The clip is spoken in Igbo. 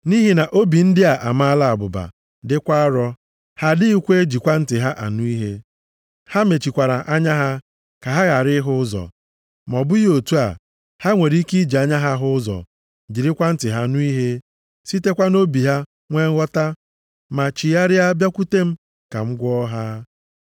Nʼihi na obi ndị a amaala abụba, dịkwa arọ; ha adịghị ejikwa ntị ha anụ ihe, ha mechikwara anya ha ka ha ghara ịhụ ụzọ. Ma ọ bụghị otu a, ha nwere ike iji anya ha hụ ụzọ, jirikwa ntị ha nụ ihe sitekwa nʼobi ha nwe nghọta ma chigharịa bịakwute m, ka m gwọọ ha.’ + 28:27 \+xt Aịz 6:9,10\+xt*